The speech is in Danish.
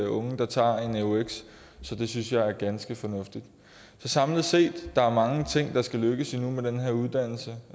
unge der tager en eux så det synes jeg er ganske fornuftigt så samlet set er der mange ting der skal lykkes nu med den her uddannelse